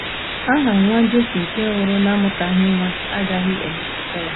Aha nwa Jesi nke nwụrụ n'amụtaghị nwa agaghị emetụta ya.